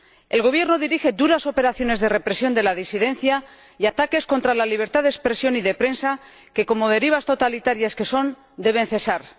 El Gobierno dirige duras operaciones de represión de la disidencia y ataques contra la libertad de expresión y de prensa que, como derivas totalitarias que son, deben cesar.